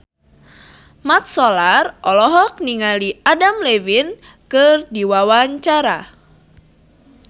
Mat Solar olohok ningali Adam Levine keur diwawancara